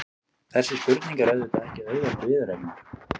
Þessi spurning er auðvitað ekki auðveld viðureignar.